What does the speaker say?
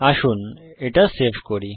আসুন এটা সেভ করি